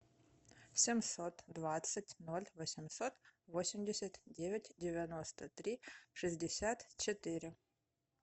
семьсот двадцать ноль восемьсот восемьдесят девять девяносто три шестьдесят четыре